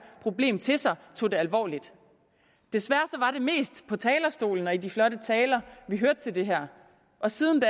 problem til sig og tog det alvorligt desværre var det mest på talerstolen og i de flotte taler vi hørte til det her og siden